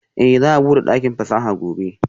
Eh za'a bude dakin fasaha gobe?